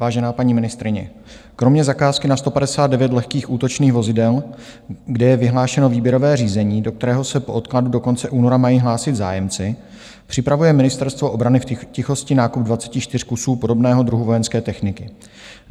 Vážená paní ministryně, kromě zakázky na 159 lehkých útočných vozidel, kde je vyhlášeno výběrové řízení, do kterého se po odkladu do konce února mají hlásit zájemci, připravuje Ministerstvo obrany v tichosti nákup 24 kusů podobného druhu vojenské techniky.